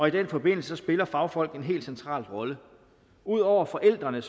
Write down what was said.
i den forbindelse spiller fagfolk en helt central rolle ud over forældrene